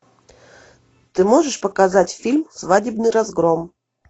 ты можешь показать фильм свадебный разгром